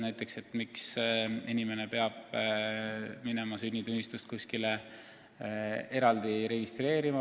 Näiteks miks inimene peab minema sünnitunnistust kuskile eraldi registreerima?